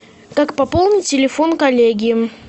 так пополни телефон коллеги